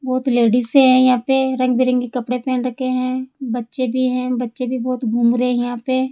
बहुत लेडिसे है यहां पे रंग बिरंगे कपड़े पहन रखे हैं बच्चे भी हैं बच्चे भी बहुत घूम रहे हैं यहां पे।